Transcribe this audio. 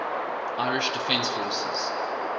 irish defence forces